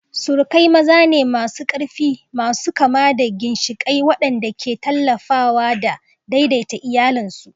Surukai maza ne masu ƙarfi, masu kama da ginshiƙai waɗanda ke tallafawa da daidaita iyalansu.